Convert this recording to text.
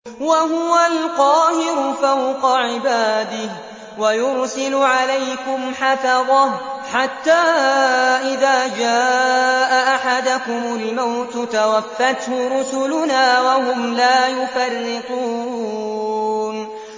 وَهُوَ الْقَاهِرُ فَوْقَ عِبَادِهِ ۖ وَيُرْسِلُ عَلَيْكُمْ حَفَظَةً حَتَّىٰ إِذَا جَاءَ أَحَدَكُمُ الْمَوْتُ تَوَفَّتْهُ رُسُلُنَا وَهُمْ لَا يُفَرِّطُونَ